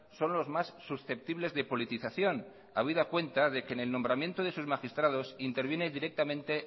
son los más susceptibles de politización habida cuenta de que en el nombramiento de sus magistrados interviene directamente